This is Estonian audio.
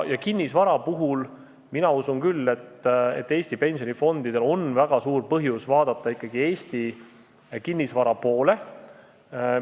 Kinnisvara puhul mina usun küll, et Eesti pensionifondidel on väga suur põhjus vaadata ikkagi Eesti kinnisvara poole.